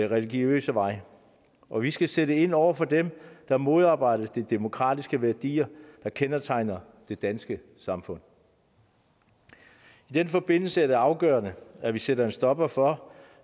religiøse vej og vi skal sætte ind over for dem der modarbejder de demokratiske værdier der kendetegner det danske samfund i den forbindelse er det afgørende at vi sætter en stopper for